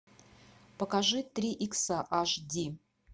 покажи три икса аш ди